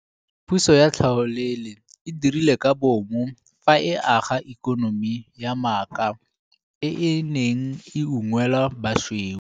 Puso ya tlhaolele e dirile ka bomo fa e aga ikonomi ya maaka e e neng e unngwela basweu.